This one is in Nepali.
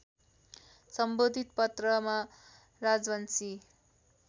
सम्बोधित पत्रमा राजवंशी